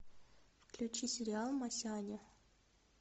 включи сериал масяня